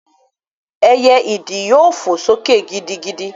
Ẹyẹ ìdí yóò fò sókè gidigidi